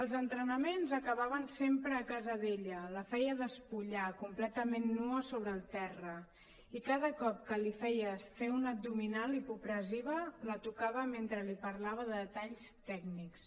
els entrenaments acabaven sempre a casa d’ella la feia despullar completament nua sobre el terra i cada cop que li feia fer una abdominal hipopressiva la tocava mentre li parlava de detalls tècnics